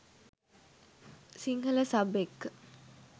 Sinhala sub එක්ක